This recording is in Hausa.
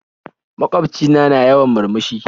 Magwaobci na, na yawan murmushi